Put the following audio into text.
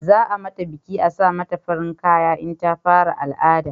Za a mata biki a sa mata farin kaya in ta fara al'ada